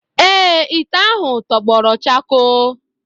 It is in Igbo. Ee, ite ahụ tọgbọrọ chakoo.